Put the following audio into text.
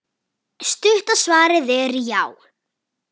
Stutta svarið er já.